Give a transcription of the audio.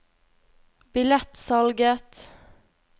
billettsalget